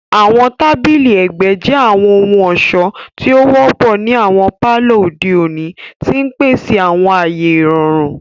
Àwọn tabili ẹgbẹ jẹ àwọn ohun-ọṣọ ti o wọpọ ni awọn palọ ode oni, ti n pese awọn aaye irọrun.